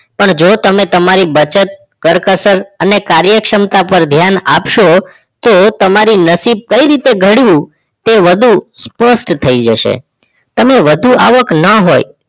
પણ જો તમે તમારી બચત કરકસર અને કાર્યક્ષમતા ઉપર ધ્યાન આપશો તો તમારું નસીબ કઈ રીતે ઘડિયુ તે વધુ સ્પષ્ટ થઈ જશે તમે વધુ આવક ન હોય